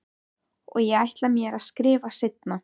Og ég ætla mér að skrifa seinna.